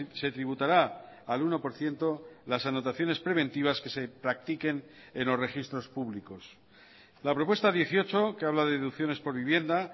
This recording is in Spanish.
se tributará al uno por ciento las anotaciones preventivas que se practiquen en los registros públicos la propuesta dieciocho que habla de deducciones por vivienda